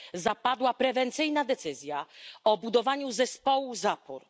zapadła prewencyjna decyzja o budowaniu zespołu zapór.